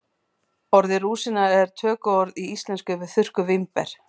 Orðið rúsína er tökuorð í íslensku yfir þurrkuð vínber.